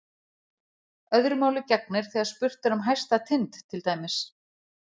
Öðru máli gegnir þegar spurt er um hæsta tind til dæmis.